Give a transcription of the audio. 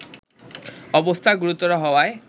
অবস্থা গুরুতর হওয়ায়